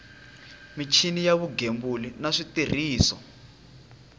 michini ya vugembuli na switirhiso